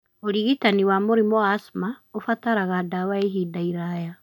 Ũrigitani wa mũrimũ wa asthma ũbataraga ndawa ya ihinda iraya.